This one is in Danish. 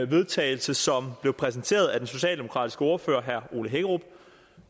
vedtagelse som blev præsenteret af den socialdemokratiske ordfører herre ole hækkerup